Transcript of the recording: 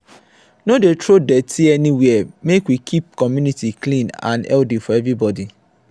no dey throw dirty anywhere make we keep community clean and healthy for everybody.